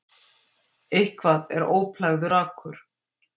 Eitthvað er óplægður akur